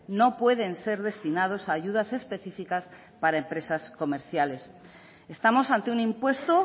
no pueden ser destinados a ayudas específicas para empresas comerciales estamos ante un impuesto